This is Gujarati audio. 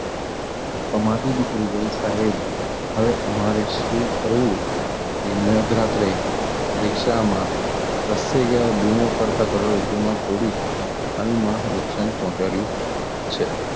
કમાંથી નીકળી સાહેબ હવે અમારે શું કરવું? એ મધરાત્રે રિક્ષામાં પ્રસરી ગયેલા બુઓ પાડતા કરોડરજ્જુમાં તોડી નુકસાન પહોચાડ્યું છે.